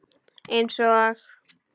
Eins og?